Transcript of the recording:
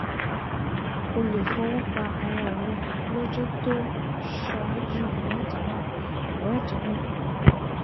O lè fọwọ́ pa ara rẹ lọ́jọ́ tó ṣáájú ìwádìí náà ìwádìí náà